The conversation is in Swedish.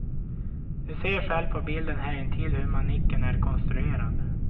Du ser själv på bilden härintill hur manicken är konstruerad.